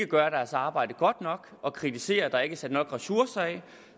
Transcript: gøre deres arbejde godt nok og kritiserer at der ikke er sat nok ressourcer af